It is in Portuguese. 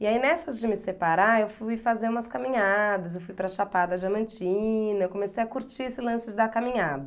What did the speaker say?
E aí, nessa de me separar, eu fui fazer umas caminhadas, eu fui para Chapada Diamantina, eu comecei a curtir esse lance da caminhada.